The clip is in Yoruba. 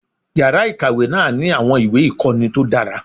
Yàrá ìkàwé náà ní àwọn ìwé ìkọ́ni tó dára.